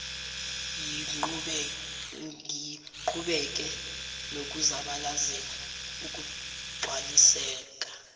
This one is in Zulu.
siqhubeke nokuzabalazela ukugcwaliseka